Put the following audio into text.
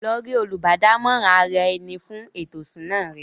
Lọ rí “ Olùbádámọ̀ràn ara-ẹni fún ètò ìṣúná” rẹ!